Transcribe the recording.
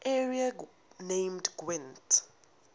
area named gwent